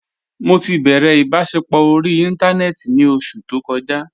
Mọ ti bẹrẹ ibasẹpọ orí ìntánẹnẹ́tì ní ọṣù tó kòjà.